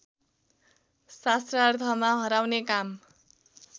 शास्त्रार्थमा हराउने काम